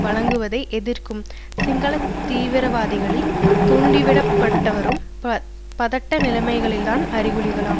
வழங்குவதை எதிர்க்கும் சிங்கள தீவிரவாதிகளால் தூண்டிவிடப்பட்டுவரும் பதட்ட நிலைமைகளின் அறிகுறிகளாகும்